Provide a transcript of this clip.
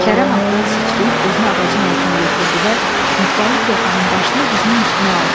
Kərəm atdan sıçrayıb özünü ağacın altına yetirdi və Niftalı koxanın başını dizinin üstünə aldı.